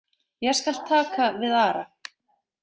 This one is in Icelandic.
Ég skal taka við Ara.